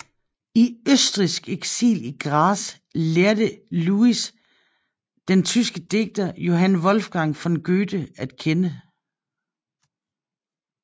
I østrigsk eksil i Graz lærte Louis den tyske digter Johann Wolfgang von Goethe at kende